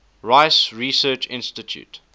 rice research institute